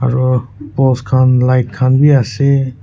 aro post khan light khan bhi ase.